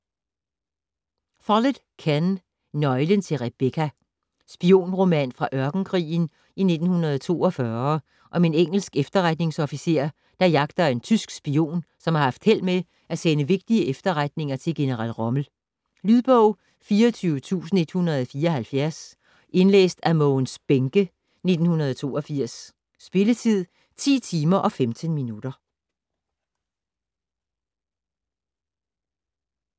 Follett, Ken: Nøglen til Rebecca Spionroman fra ørkenkrigen i 1942 om en engelsk efterretningsofficer, der jagter en tysk spion, som har haft held med at sende vigtige efterretninger til general Rommel. Lydbog 24174 Indlæst af Mogens Bähncke, 1982. Spilletid: 10 timer, 15 minutter.